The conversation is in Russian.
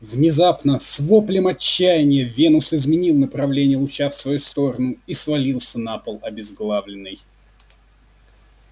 внезапно с воплем отчаяния венус изменил направление луча в свою сторону и свалился на пол обезглавленный